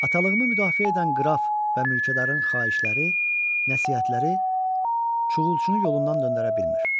Atalığımı müdafiə edən qraf və mülkədarın xahişləri, nəsihətləri Çuğulçunu yolundan döndərə bilmir.